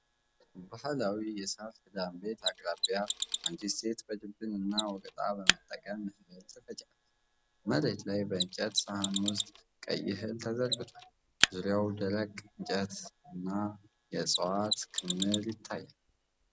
ባህላዊ የሳር ክዳን ቤት አቅራቢያ አንዲት ሴት በድብን እና ወቀጣ በመጠቀም እህል ትፈጫለች። መሬት ላይ በእንጨት ሳህን ውስጥ ቀይ እህል ተዘርግቷል። ዙሪያው ደረቅ እፅዋትና የእንጨት ክምር ይታያል።